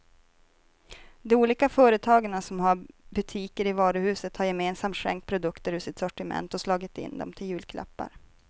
De olika företagarna som har butiker i varuhuset har gemensamt skänkt produkter ur sitt sortiment och slagit in dem till julklappar.